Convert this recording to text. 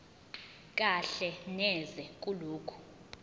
kahle neze kulokho